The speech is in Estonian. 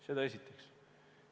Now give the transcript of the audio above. Seda esiteks.